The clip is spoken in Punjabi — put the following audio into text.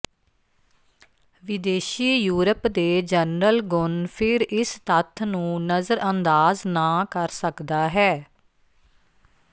ਵਿਦੇਸ਼ੀ ਯੂਰਪ ਦੇ ਜਨਰਲ ਗੁਣ ਫਿਰ ਇਸ ਤੱਥ ਨੂੰ ਨਜ਼ਰਅੰਦਾਜ਼ ਨਾ ਕਰ ਸਕਦਾ ਹੈ